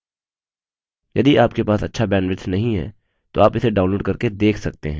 यदि आपके पास अच्छा bandwidth नहीं है तो आप इसे download करके देख सकते हैं